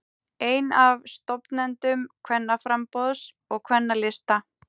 Einn af stofnendum Kvennaframboðs og Kvennalista